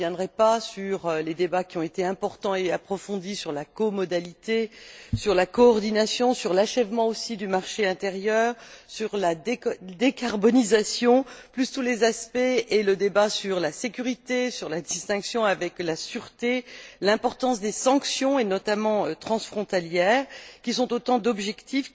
Je ne reviendrai pas sur les débats qui ont été importants et approfondis sur la comodalité, sur la coordination, sur l'achèvement du marché intérieur, sur la décarbonisation, outre tous les aspects et le débat sur la sécurité, sur la distinction avec la sûreté, l'importance des sanctions, notamment transfrontalières, qui sont autant d'objectifs